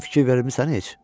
Özün fikir vermisən heç?